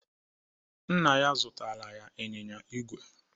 Nna ya zụtara ya ịnyịnya ígwè.